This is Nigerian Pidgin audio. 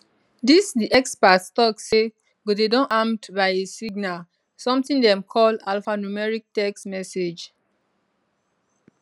dis di expert tok say go dey don armed by a signal something dem call alphanumeric text message